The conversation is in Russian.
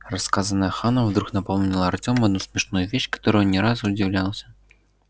рассказанное ханом вдруг напомнило артему одну смешную вещь которой он не раз удивлялся